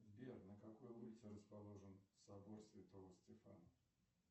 сбер на какой улице расположен собор святого стефана